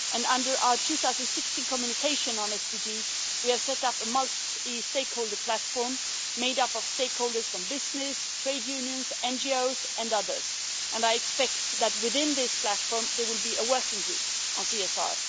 Under our 2016 communication on SDGs we have set up a multi stakeholder platform, made up of stakeholders from business, trade unions, NGOs and others, and I expect that within this platform there will be a working group on CSR.